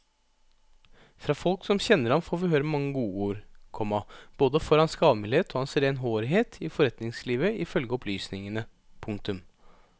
Fra folk som kjenner ham får vi høre mange godord, komma både for hans gavmildhet og hans renhårighet i forretningslivet ifølge opplysningene. punktum